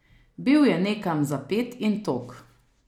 Bil je nekam zapet in tog.